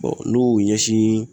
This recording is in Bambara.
n'u y'u ɲɛsin